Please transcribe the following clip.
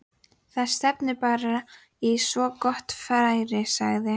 Algengt er að setja námsmarkmið fram á nokkrum sviðum.